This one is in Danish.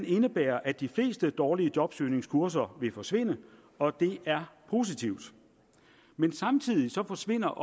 indebærer at de fleste dårlige jobsøgningskurser vil forsvinde og det er positivt men samtidig forsvinder